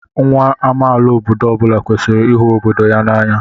Nwa amaala obodo ọ bụla kwesịrị ịhụ obodo ya n'anya.